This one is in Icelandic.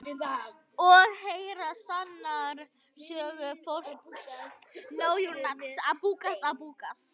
Og heyra sannar sögur fólks.